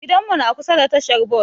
Gidan mu na kusa da tahar Bas